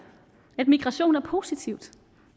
at migration er positivt